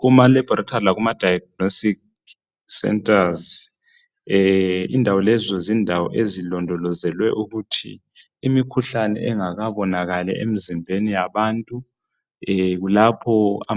Kuma laboratory lakuma diagnostic centers indawo lezo zindawo ezilondolozelwe ukuthi imikhuhlane engakabonakali emizibheni yabantu kulapho